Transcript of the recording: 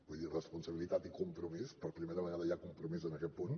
vull dir responsabilitat i compromís per primera vegada hi ha compromís en aquest punt